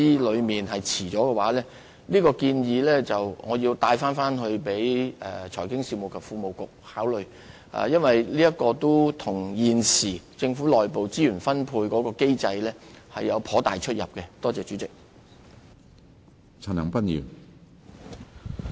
我會把這項建議轉達財經事務及庫務局考慮，因為現時政府的內部資源分配機制不太適用這項建議。